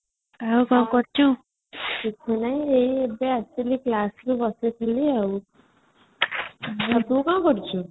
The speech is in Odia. ତୁ କ'ଣ କରୁଛୁ ?